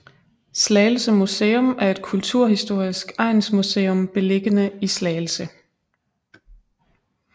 Slagelse Museum er et kulturhistorisk egnsmuseum beliggende i Slagelse